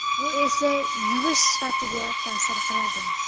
Bu esa yuvish sifatiga ta’sir qiladi.